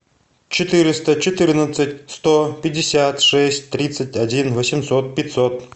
четыреста четырнадцать сто пятьдесят шесть тридцать один восемьсот пятьсот